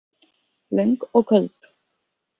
Löng og köld.